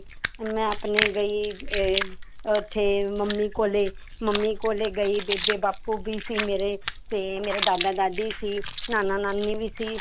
ਮੈਂ ਆਪਣੇ ਗਈ ਇਹ ਉੱਥੇ ਮੰਮੀ ਕੋਲੇ ਮੰਮੀ ਕੋਲੇ ਗਈ ਬੇਬੇ ਬਾਪੂ ਵੀ ਸੀ ਮੇਰੇ ਤੇ ਮੇਰੇ ਦਾਦਾ ਦਾਦੀ ਸੀ, ਨਾਨਾ ਨਾਨੀ ਵੀ ਸੀ